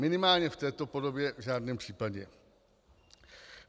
Minimálně v této podobě v žádném případě.